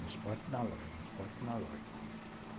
no esporte e na loja, no esporte e na loja.